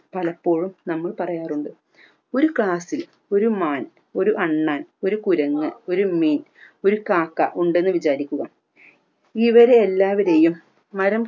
പലപ്പോഴും നമ്മൾ പറയാറുണ്ട് ഒരു ക്ലാസിൽ ഒരു മാൻ ഒരു അണ്ണാൻ ഒരു കുരങ്ങ് ഒരു മീൻ ഒരു കാക്ക ഉണ്ടെന്ന് വിചാരിക്കുക ഇവരെ എല്ലാവരെയും മരം